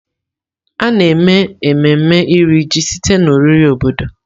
A na-eme ememme Iri Ji site na oriri obodo.